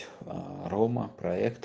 рома проект